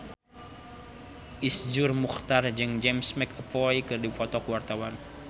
Iszur Muchtar jeung James McAvoy keur dipoto ku wartawan